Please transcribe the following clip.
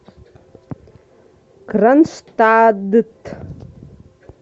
кронштадт